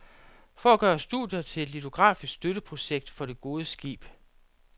For at gøre studier til et litografisk støtteprojekt for det gode skib.